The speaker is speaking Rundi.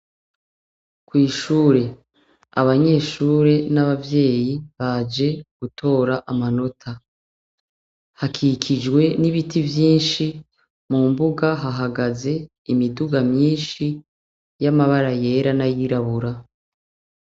Kw'ishure, abanyeshure n'abavyeyi baje gutora amanota. Hakikijwe n'ibiti vyinshi, mu mbuga hahagaze imiduga myinshi y'amabara yera n'ayirabura.